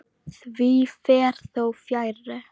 Því fer þó fjarri.